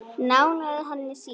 Nánar að henni síðar.